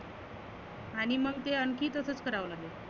आणि मग ते आनखी तसच कराव लागेल.